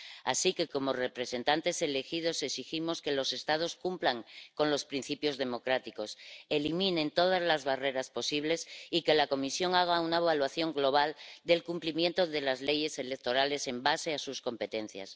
Así que, como representantes elegidos, exigimos que los Estados cumplan con los principios democráticos, eliminen todas las barreras posibles y que la Comisión haga una evaluación global del cumplimiento de las leyes electorales en base a sus competencias.